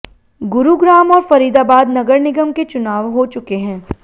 गुरुग्राम और फरीदाबाद नगर निगम के चुनाव हो चुके हैं